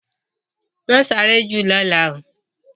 Ma sáré jù lọ́la oo!